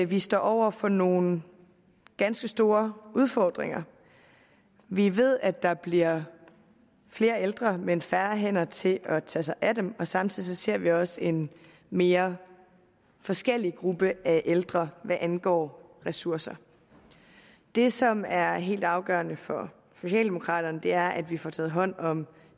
vi står over for nogle ganske store udfordringer vi ved at der bliver flere ældre men færre hænder til at tage sig af dem og samtidig ser vi også en mere forskellig gruppe af ældre hvad angår ressourcer det som er helt afgørende for socialdemokraterne er at vi får taget hånd om